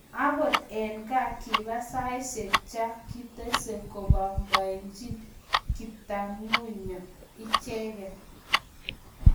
Akot eng ngaa kipaa saishek Cha kitesee komapapaenje kaptagunyo icheket